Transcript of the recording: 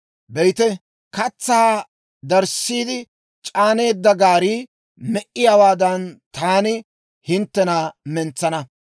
«Be'ite, katsaa darissiide c'aaneedda gaarii me"iyaawaadan, taani hinttena mentsana.